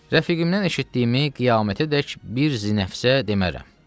Rəfiqimdən eşitdiyimi qiyamətədək bir zinəfsə demərəm.